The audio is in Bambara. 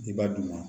I b'a d'u ma